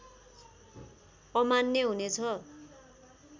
अमान्य हुने छ